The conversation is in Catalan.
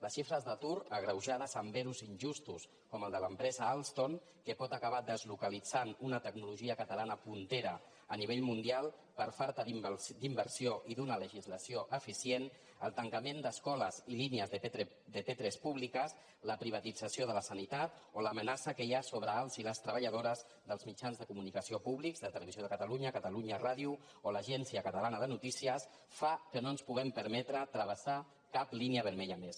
les xifres d’atur agreujades amb ero injustos com el de l’empresa alstom que pot acabar deslocalitzant una tecnologia catalana pionera a nivell mundial per falta d’inversió i d’una legislació eficient el tancament d’escoles i línies de p3 públiques la privatització de la sanitat o l’amenaça que hi ha sobre els i les treballadores dels mitjans de comunicació públics de televisió de catalunya catalunya ràdio o l’agència catalana de notícies fan que no ens puguem permetre travessar cap línia vermella més